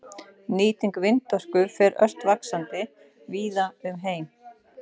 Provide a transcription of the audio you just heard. Nýting vindorku fer nú ört vaxandi víða um heim.